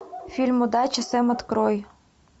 фильм удачи сэм открой